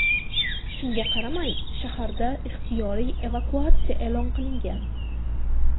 Shunga qaramay, shaharda ixtiyoriy evakuatsiya e’lon qilingan.